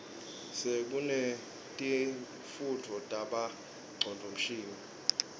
sekunetifundvo tabo ngcondvomshini